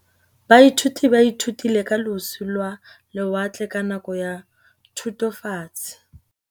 Baithuti ba ithutile ka losi lwa lewatle ka nako ya Thutafatshe.